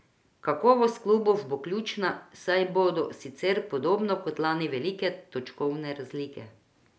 Kakovost klubov bo ključna, saj bodo sicer podobno kot lani velike točkovne razlike.